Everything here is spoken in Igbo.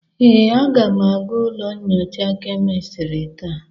Ee, aga m aga ụlọ nyocha kemistri taa.